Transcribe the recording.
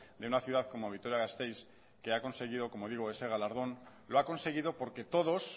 de una ciudad como vitoria gasteiz que ha conseguido como digo ese galardón lo ha conseguido porque todos